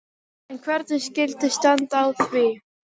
En hvernig skyldi standa á því?